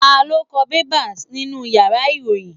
Ta lo ko bẹ́bà nínú ìyára irohin?